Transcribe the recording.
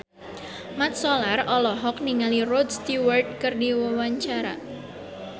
Mat Solar olohok ningali Rod Stewart keur diwawancara